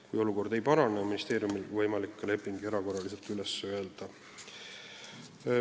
Kui olukord ei parane, on ministeeriumil võimalik leping erakorraliselt üles öelda.